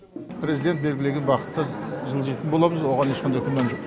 президент белгілеген бағытпен жылжитын боламыз оған ешқандай күмән жоқ